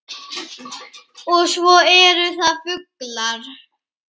Og svo eru það fuglar